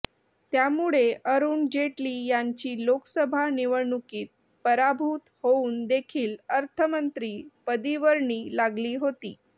त्यामुळे अरुण जेटली यांची लोकसभा निवडणुकीत पराभूत होऊन देखील अर्थमंत्री पदी वर्णी लागली होती